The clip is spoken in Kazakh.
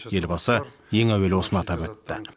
елбасы ең әуелі осыны атап өтті